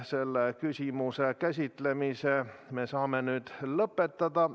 Selle küsimuse käsitlemise me saame nüüd lõpetada.